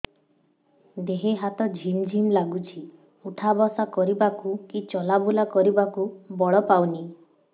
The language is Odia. ଦେହେ ହାତ ଝିମ୍ ଝିମ୍ ଲାଗୁଚି ଉଠା ବସା କରିବାକୁ କି ଚଲା ବୁଲା କରିବାକୁ ବଳ ପାଉନି